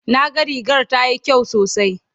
na ga rigar tayi kyau sosai